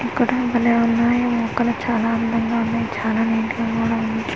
ఇక్కడ భలే ఉన్నాయి మొక్కలు చాలా అందంగా ఉన్నాయి చాలా నీట్ గా కూడా ఉన్నాయ్.